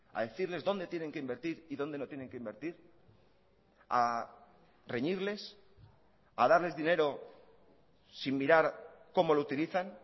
a decirles dónde tienen que invertir y dónde no tienen que invertir a reñirles a darles dinero sin mirar cómo lo utilizan